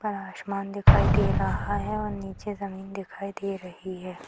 पर आसमान दिखाई दे रहा है और निचे जमीन दिखाई दे रही है।